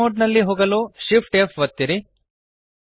fly mode ನಲ್ಲಿ ಹೋಗಲು Shift F ಒತ್ತಿರಿ